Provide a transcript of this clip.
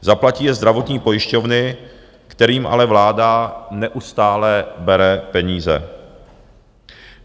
Zaplatí je zdravotní pojišťovny, kterým ale vláda neustále bere peníze.